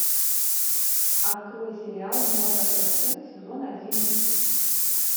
открой сериал молокососы сезон один